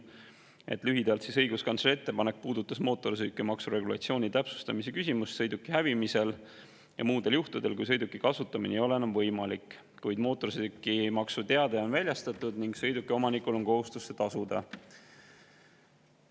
Lühidalt öeldes puudutas õiguskantsleri ettepanek mootorsõidukimaksu regulatsiooni sõiduki hävimisel ja muudel juhtudel, kui sõiduki kasutamine ei ole enam võimalik, kuid mootorsõidukimaksu teade on väljastatud ning sõiduki omanikul on kohustus see tasuda.